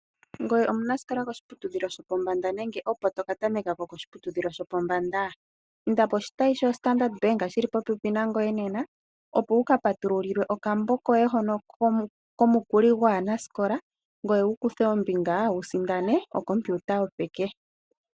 Ngoye omunasikola koshiputudhilo shopombanda shopombanda nenge opo toka tameka shopombanda? Inda koshitayi sho Standard Bank shili popepi nangoye nena, opo wuka patululilwe okambo koye hono komukuli gwaanasikola , ngoye wukuthe ombinga wusindane ocomputer yopeke.